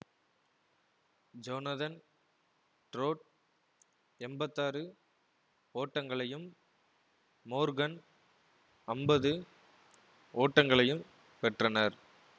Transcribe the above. Jonathan Trott எம்பத்தி ஆறு ஓட்டங்களையும் மோர்கன் அம்பது ஓட்டங்களையும் பெற்றனர்